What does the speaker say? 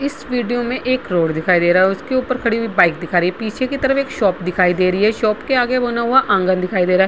इस वीडियो में एक रोड दिखाई दे रहा है। उसके ऊपर खड़ी हुई बाइक दिखा रही है। पीछे की तरफ एक शॉप दिखाई दे रही है। शॉप के आगे वो नवा आंगन दिखाई दे रहा है।